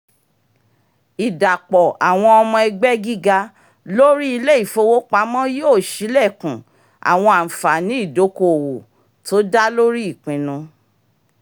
ìdápọ̀ àwọn ọmọ ẹgbẹ́ gíga lórí ilé-ifowopamọ́ yóò ṣí ilékun àwọn ànfààní ìdoko-owó tó dá lórí ìpinnu